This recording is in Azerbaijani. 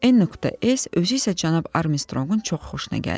n.s özü isə cənab Armstrongun çox xoşuna gəldi.